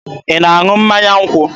Ị na-aṅụ mmanya nkwụ?